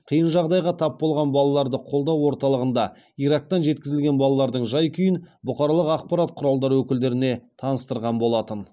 қиын жағдайға тап болған балаларды қолдау орталығында ирактан жеткізілген балалардың жай күйін бұқаралық ақпарат құралдары өкілдеріне таныстырған болатын